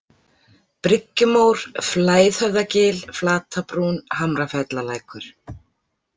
Bryggjumór, Flæðhöfðagil, Flatabrún, Hamrafellalækur